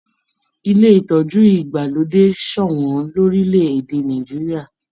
Ilé ìtọjú ìgbàlódé sọwọn lorilẹ èdè Nàìjíríà.